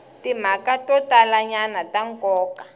timhaka to talanyana ta nkoka